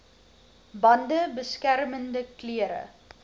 bande beskermende klere